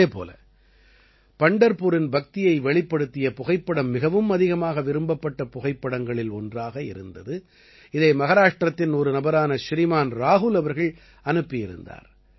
இதே போல பண்டர்புரின் பக்தியை வெளிப்படுத்திய புகைப்படம் மிகவும் அதிகமாக விரும்பப்பட்ட புகைப்படங்களில் ஒன்றாக இருந்தது இதை மஹாராஷ்டிரத்தின் ஒரு நபரான ஸ்ரீமான் ராகுல் அவர்கள் அனுப்பியிருந்தார்